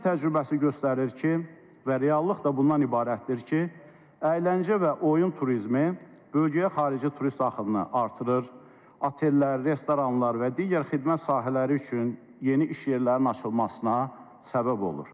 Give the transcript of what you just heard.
Dünya təcrübəsi göstərir ki, və reallıq da bundan ibarətdir ki, əyləncə və oyun turizmi bölgəyə xarici turist axınını artırır, otellər, restoranlar və digər xidmət sahələri üçün yeni iş yerlərinin açılmasına səbəb olur.